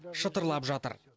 шытырлап жатыр